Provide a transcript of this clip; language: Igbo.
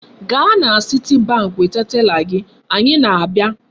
Gaa na Citibank weta tela gị! Anyị na-abịa.